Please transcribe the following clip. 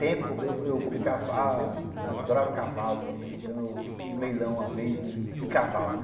Tempo eu eu comprei cavalo, eu adorava cavalo também, então eu fui num leilão uma vez de cavalo, né?